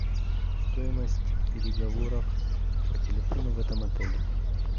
стоимость переговоров по телефону в этом отеле